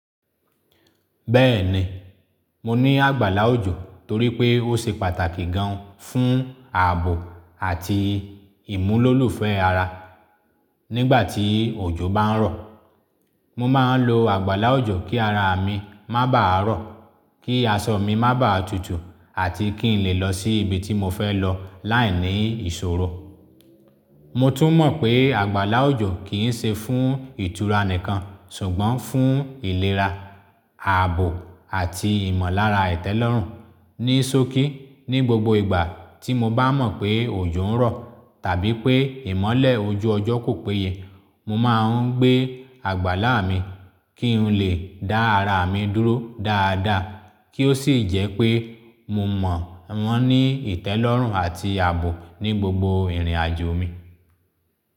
Bẹ́ẹ̀ni, mo ní àgbàlá òjò torí pé ó ṣe pàtàkì gan fún ààbò àti ìmúlòlùfẹ́ ara. Nígbà tí òjò bá ń rọ̀, mo máa ń lo àgbàlá òjò kí ara mi má bàa rọ̀, kí aṣọ mi má bàa tutù àti kí n lè lọ sí ibi tí mo fẹ lọ láìní ìṣòro. Mo tún mọ̀ pé àgbàlá òjò kìí ṣe fún ìtura nìkan ṣùgbọ́n fún ìlera, ààbò àti ìmọ̀lára ìtẹ́lọ́rùn. Ní sọ́kí, ní gbogbo ìgbà tí mo bá mọ̀ pé òjò ń rọ̀ tàbí pé ìmọ́lẹ̀ ojú ọjọ́ kò péye, mo máa ń gbé àgbàlá mi kí n lè dá ara mi dúró dáadáa kí ó sì jẹ́ pé mo mọ̀ wọ́n ní ìtẹ́lọ́rùn àti ààbò ní gbogbo ìrìnàjò mi.